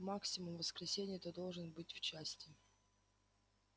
максимум в воскресенье ты должен быть в части